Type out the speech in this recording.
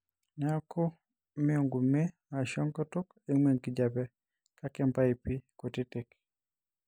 neeku ime enkume aashu enkutuk eimu enkijiape kake impaipi kutitik.